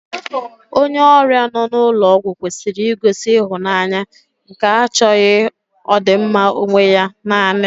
Onye ọrịa nọ n'ụlọ ọgwụ kwesịrị igosi ịhụnanya nke achọghị ọdịmma onwe ya nanị